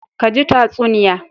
Ka ji tatsuniya.